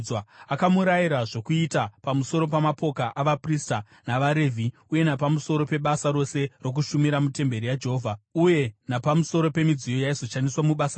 Akamurayira zvokuita pamusoro pamapoka avaprista navaRevhi uye napamusoro pebasa rose rokushumira mutemberi yaJehovha, uyewo napamusoro pemidziyo yaizoshandiswa mubasa rayo.